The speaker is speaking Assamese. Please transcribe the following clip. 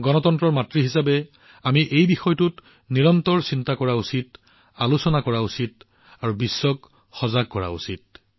গণতন্ত্ৰৰ মাতৃ হিচাপে আমি এই বিষয়টোৰ সন্দৰ্ভত নিৰন্তৰে গভীৰভাৱে চিন্তা কৰা উচিত আলোচনা কৰা উচিত আৰু বিশ্বক অৱগত কৰা উচিত